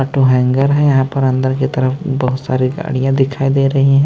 To hangar है यहां पर अंदर की तरफ बहुत सारी गाड़ियां दिखाई दे रही है।